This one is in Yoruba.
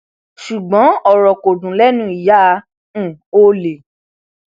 ṣùgbọn ọrọ kò dùn lẹnu ìyá um ọlẹ